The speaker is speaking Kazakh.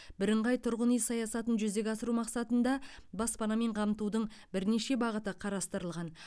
бірыңғай тұрғын үй саясатын жүзеге асыру мақсатында баспанамен қамтудың бірнеше бағыты қарастырылған